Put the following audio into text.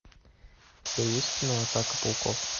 у тебя есть кино атака пауков